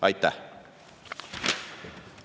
Aitäh!